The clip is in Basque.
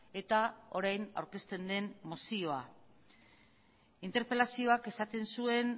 eta orain aurkezten den mozioa interpelazioak esaten zuen